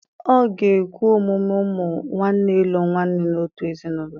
Ọ̀ ga-ekwe omume ụmụ nwanne ịlụ nwanyị n'otu ezinụlọ?